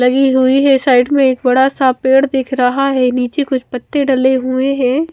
लगी हुई है साइड में एक बड़ा सा पेड़ दिख रहा है नीचे कुछ पत्ते डले हुए हैं।